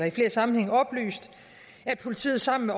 i flere sammenhænge oplyst at politiet sammen